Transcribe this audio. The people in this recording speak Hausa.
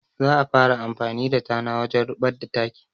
Za a fara amfani da tana wajen ruɓar da taki